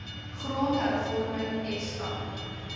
grond hervorming esta